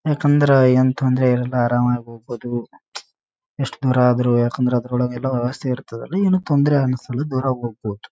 ಯಾಕಂದ್ರೆ ಏನ್ ತೊಂದ್ರೆ ಇರಲ್ಲ ಆರಾಮಾಗಿ ಹೋಗ್ಬಹುದು ಎಷ್ಟು ದೂರ ಆದ್ರು ಯಾಕಂದ್ರ ಅದ್ರೊಳಗ ಎಲ್ಲ ವ್ಯವಸ್ಥೆ ಇರ್ತದ. ಏನು ತೊಂದ್ರೆ ಅನ್ನ್ಸಲ್ಲ ದೂರ ಹೋಗ್ಬಹುದು.